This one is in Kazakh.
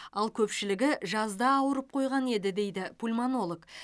ал көпшілігі жазда ауырып қойған еді дейді пульмонолог